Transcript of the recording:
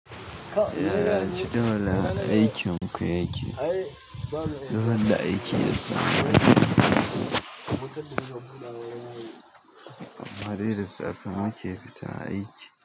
Yaya cikin wajen aikin ku yake? Duk randa aiki ya samu amma dai da safe muke fita aiki.